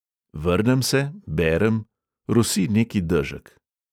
Vrnem se, berem, rosi neki dežek.